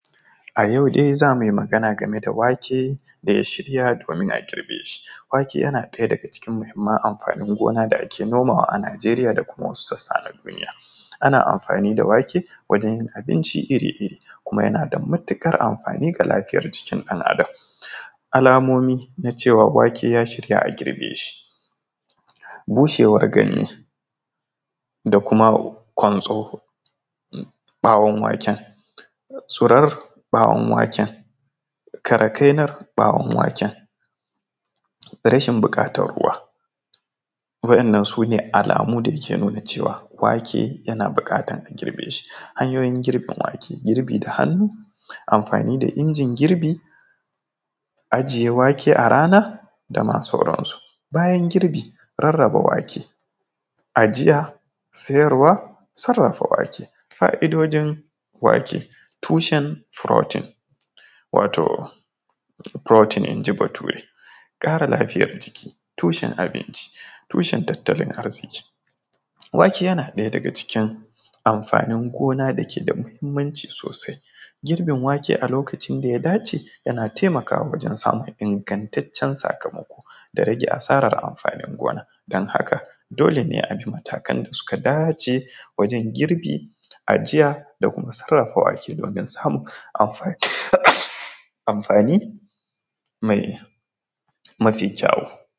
A yau dai zamu yi magana game da wake da ya shirya domin a girbe shi, wake yana ɗaya daga cikin muhimman amfani gona da ake nomawa a Nijeriya da kuma wasu sassa na duniya, ana amfani da wake wajen yin abinci iri-iri kuma yana da matuƙar amfani ga lafiyar jikin ɗan adam alamomi na cewa wake ya shirya a girbe shi bushewar ganye da kuma kwantso bawan waken tsaurar bawan waken karakainar bawan waken rashin buƙatar ruwa waɗannan sune alamu da yake nuna cewa wake yana buƙatar a girbe shi, hanyoyin girbin wake girbi da hannu, amfani da injin girbi ajiye wake a rana dama sauran su, bayan girbi rarraba wake, ajiya, siyarwa, sarafa wake. Fa’idojin wake tushen protein wato protein inji bature, kare lafiyar jiki, tushen abinci tushen, tattalin arziƙi, wake yana ɗaya daga cikin amfanin gona da ke da muhimmanci sosai, girbin wake a lokacin da ya dace yana taimakawa wajen samun ingantacen sakamako da rage asara, amfanin gonar kamar haka dole ne abi matakan da suka dace wajen girbi ajiya da kuma sarafa wake domin samun amfani mafi kyawu.